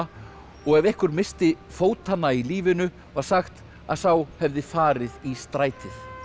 og ef einhver missti fótanna í lífinu var sagt að sá hefði farið í strætið